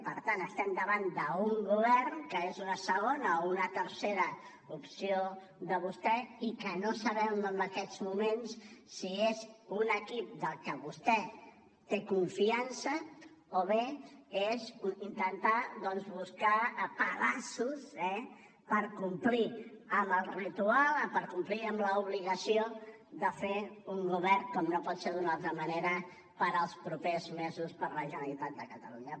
per tant estem davant d’un govern que és una segona o una tercera opció de vostè i que no sabem en aquests moments si és un equip del que vostè té confiança o bé és intentar doncs buscar pedaços eh per complir amb el ritual per complir amb l’obligació de fer un govern com no pot ser d’una altra manera per als propers mesos per a la generalitat de catalunya